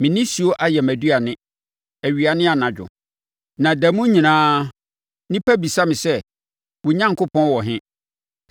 Me nisuo ayɛ mʼaduane awia ne anadwo, na da mu nyinaa nnipa bisa me sɛ: “Wo Onyankopɔn wɔ he?”